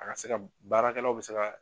A ka se ka baarakɛlaw bɛ se ka.